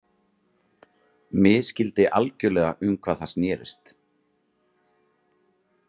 Misskildi algjörlega um hvað það snerist.